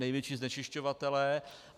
Největší znečišťovatelé.